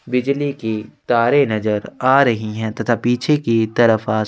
बिजली के तारे नज़र आ रही है तथा पीछे की तरफ आसमान --